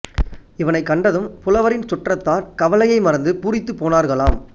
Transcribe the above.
இவனைக் கண்டதும் புலவரின் சுற்றத்தார் கவலையை மறந்து பூரித்துப் போனார்களாம்